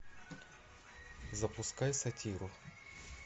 запускай сатиру